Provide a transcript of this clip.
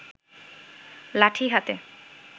লাঠি হাতে